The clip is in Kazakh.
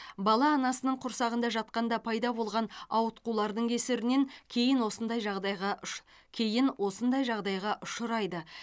бала анасының құрсағында жатқанда пайда болған ауытқулардың кесірінен кейін осындай жағдайға ұш кейін осындай жағдайға ұшырайды